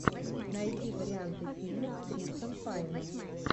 найди варианты фильмов с крисом пайном